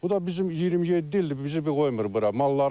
Bu da bizim 27 ildir bizi bir qoymur bura.